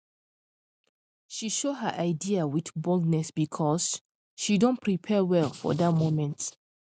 she show her idea with boldness because she don prepare well for that moment